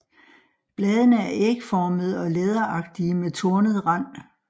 Bladene er ægformede og læderagtige med tornet rand